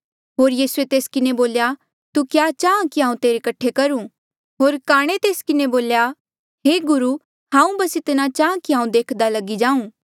होर यीसूए तेस किन्हें बोल्या तू क्या चाहां कि हांऊँ तेरे कठे करूं होर काणे तेस किन्हें बोल्या हे गुरु हांऊँ बस इतना चाहां कि हांऊँ देख्दा लगी जाऊं